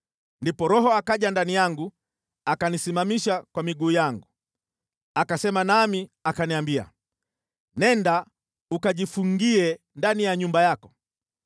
Ndipo Roho akaja ndani yangu akanisimamisha kwa miguu yangu. Akasema nami akaniambia: “Nenda ukajifungie ndani ya nyumba yako.